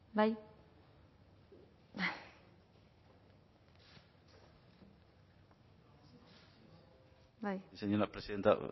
bai señora presidenta